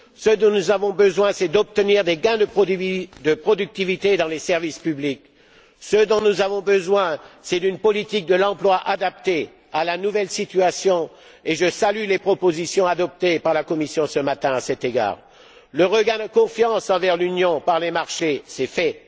Ce dont nous avons besoin, c'est d'obtenir des gains de productivité dans les services publics. Ce dont nous avons besoin, c'est d'une politique de l'emploi adaptée à la nouvelle situation, et je salue les propositions adoptées par la Commission ce matin à cet égard. Le regain de confiance des marchés dans l'Union, c'est fait.